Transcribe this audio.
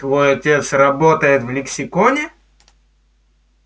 твой отец работает в лексиконе